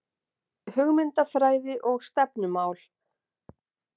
Hugmyndafræði og stefnumál